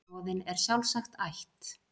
Roðinn er sjálfsagt ætt